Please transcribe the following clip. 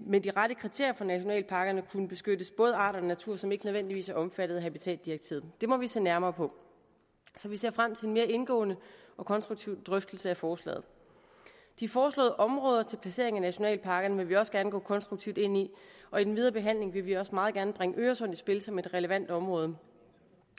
med de rette kriterier for nationalparkerne kunne beskyttes både arter og natur som ikke nødvendigvis er omfattet af habitatdirektivet det må vi se nærmere på så vi ser frem til en mere indgående og konstruktiv drøftelse af forslaget de foreslåede områder til placering af nationalparkerne vil vi også gerne gå konstruktivt ind i og i den videre behandling vil vi også meget gerne bringe øresund i spil som et relevant område